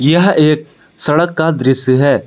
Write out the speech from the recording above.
यह एक सड़क का दृश्य है।